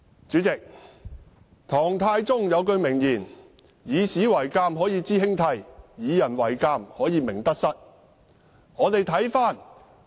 主席，唐太宗有一句名言："以史為鏡，可以知興替；以人為鏡，可以明得失"。